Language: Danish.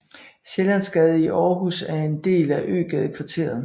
Sjællandsgade i Aarhus er en del af Øgadekvarteret